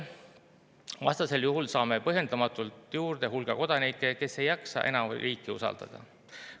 Vastasel juhul saame põhjendamatult juurde hulga kodanikke, kes ei jaksa enam riiki usaldada.